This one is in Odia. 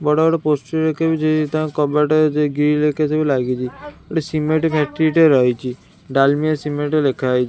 ବଡ଼ ବଡ଼ ପୋଷ୍ଟର ଏକା ବି ଯେ ତାଙ୍କ କବାଟରେ ଯେ ଗ୍ରିଲ ଏକା ସବୁ ଲାଗିଚି ଗୋଟେ ସିମେଣ୍ଟ ଫ୍ୟାକ୍ଟ୍ରି ଟେ ରହିଚି ଡାଲମିଆ ସିମେଣ୍ଟ ଲେଖାହେଇ--